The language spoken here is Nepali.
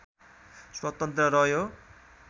स्वतन्त्र रह्यो